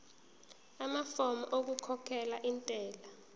amafomu okukhokhela intela